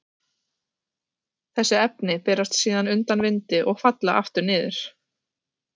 Þessi efni berast síðan undan vindi og falla aftur niður.